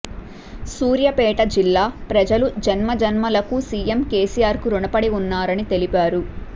సూర్యపేట జిల్లా ప్రజలు జన్మ జన్మలకు సీఎం కేసీఆర్కు రుణపడి ఉన్నారని తెలిపారు